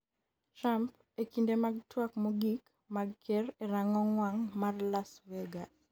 Trump,e kinde mag twak mogik mag ker e rang'ong wang' mar Las Vegas